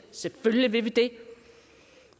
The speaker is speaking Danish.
selvfølgelig vil vi det